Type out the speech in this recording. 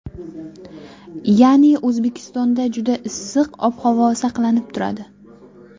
Ya’ni O‘zbekistonda juda issiq ob-havo saqlanib turadi.